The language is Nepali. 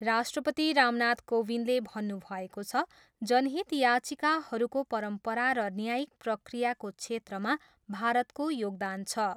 राष्ट्रपति रामनाथ कोविन्दले भन्नुभएको छ, जनहित याचिकाहरूको परम्परा र न्यायिक प्रक्रियाको क्षेत्रमा भारतको योगदान छ।